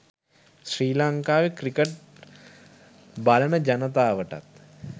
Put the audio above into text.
ශ්‍රී ලංකාවේ ක්‍රිකට් බලන ජනතාවටත්